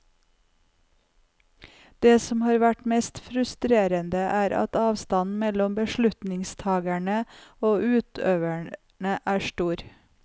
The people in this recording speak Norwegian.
Det som har vært mest frustrerende, er at avstanden mellom beslutningstagerne og utøverne er stor.